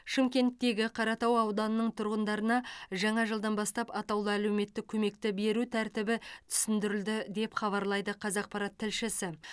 шымкенттегі қаратау ауданының тұрғындарына жаңа жылдан бастап атаулы әлеуметтік көмекті беру тәртібі түсіндірілді деп хабарлайды қазақпарат тілшісі